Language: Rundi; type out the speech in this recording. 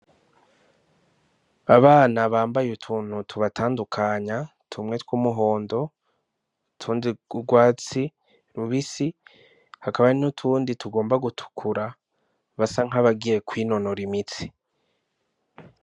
Abana bambaye utuntu tubatandukanya tumwe twumuhondo, utundi twurwatsi rubisi hakaba hari n'utundi tugomba gutukura basa nkabagiye kwinonora imitsi.